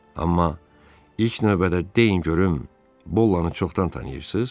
Amma ilk növbədə deyin görüm, Bollanı çoxdan tanıyırsız?